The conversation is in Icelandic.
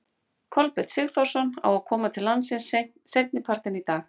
Kolbeinn Sigþórsson á að koma til landsins seinni partinn í dag.